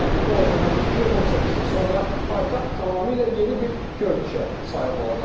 Yəni bu o deməkdir ki, 18 il sonra paytaxt tamamilə yeni bir görünüşə sahib olacaq.